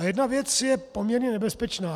A jedna věc je poměrně nebezpečná.